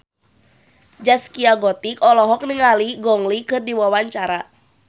Zaskia Gotik olohok ningali Gong Li keur diwawancara